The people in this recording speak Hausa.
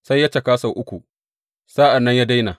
Sai ya caka sau uku sa’an nan ya daina.